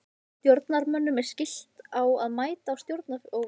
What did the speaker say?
Stjórnarmönnum er skylt að mæta á stjórnarfundum.